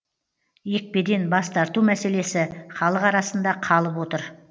екпеден бас тарту мәселесі халық арасында қалып отыр